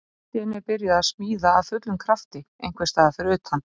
Allt í einu er byrjað að smíða af fullum krafti einhvers staðar fyrir utan.